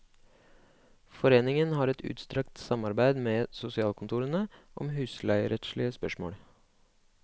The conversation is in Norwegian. Foreningen har et utstrakt samarbeid med sosialkontorene om husleierettslige spørsmål.